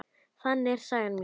Þannig er saga mín.